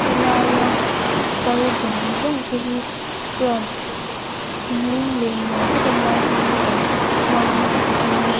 helaia kal zawng zawng te hi chuan hlim leh nuam takin lai hmun hi an hmang niin a --